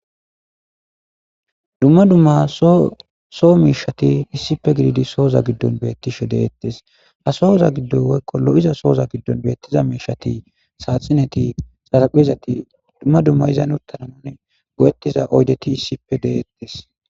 Duma duma so mishati issippe gididi so mishati soza gidon betishe detes ha soza gido lo'iza soza gidon lo'iza mishati saxineti xahpezati duma duma izan utta go'etiza mishati issippe de'etes.